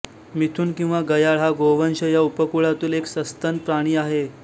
मिथुन किंवा गयाळ हा गोवंश या उपकुळातील एक सस्तन प्राणी आहे